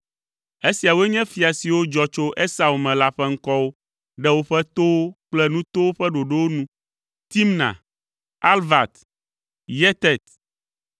Esiawoe nye fia siwo dzɔ tso Esau me la ƒe ŋkɔwo ɖe woƒe towo kple nutowo ƒe ɖoɖo nu: Timna, Alva, Yetet,